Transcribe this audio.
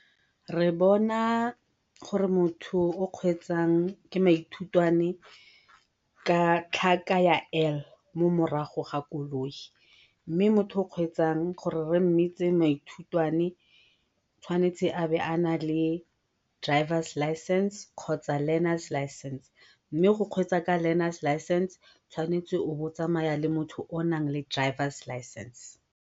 Re bona gore motho o kgweetsang ke maithutwane ka tlhaka ya L mo morago ga koloi mme motho o kgweetsang gore be re mmitse maithutwane tshwanetse a be a nale drivers license kgotsa learners license, mme go kgweetsa ka learners license o tshwanetse o be o tsamaya le motho o naleng drivers license.